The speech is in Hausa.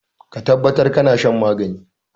Ka tabbatar kana shan magani.